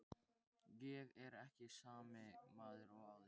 Ég er ekki sami maður og áður.